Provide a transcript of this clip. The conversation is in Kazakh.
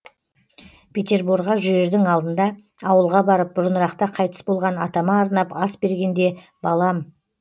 петерборға жүрердің алдында ауылға барып бұрынырақта қайтыс болған атама арнап ас бергенде балам